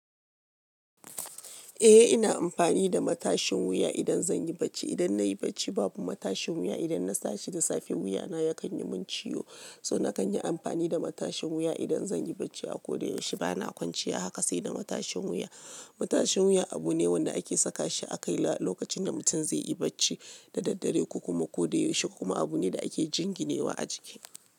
Eh ina amfani da matashin wuya idan zan yi bacci. Idan na i bacci babu matashin wuya, idan na tashi da safe wuya na yakan yi mun ciwo. So na kan yi amfani da matashin wuya idan zan yi bacci a ko da yaushe. Ba na kwanciya haka sai da matashin wuya. Matashin wuya abu ne wanda ake saka shi a kai lokacin da mutum zai yi bacci da daddare ko kuma ko da yaushe, kuma abu ne da ake jinginewa a jiki.